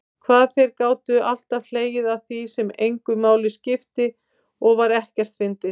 Hvað þeir gátu alltaf hlegið að því sem engu máli skipti og var ekkert fyndið.